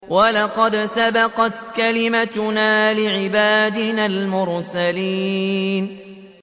وَلَقَدْ سَبَقَتْ كَلِمَتُنَا لِعِبَادِنَا الْمُرْسَلِينَ